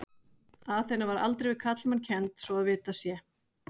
Aþena var aldrei við karlmann kennd svo að vitað sé.